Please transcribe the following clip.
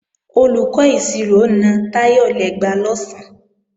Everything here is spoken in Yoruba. Olùkọ́ ìṣirò na Táyọ̀ lẹ́gba lọ̀sán